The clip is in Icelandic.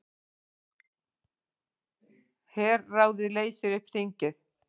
Herráðið leysir upp þingið